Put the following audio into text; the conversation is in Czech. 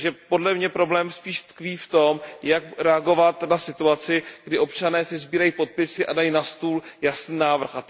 Podle mě problém spíše tkví v tom, jak reagovat na situaci, kdy občané sesbírají podpisy a dají na stůl jasný návrh.